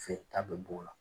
Fee ta bɛ b'o la.